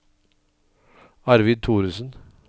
Arvid Thoresen